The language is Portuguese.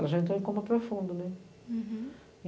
Ela já entrou em coma profundo, né. Uhum